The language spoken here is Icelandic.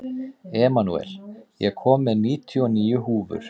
Emanúel, ég kom með níutíu og níu húfur!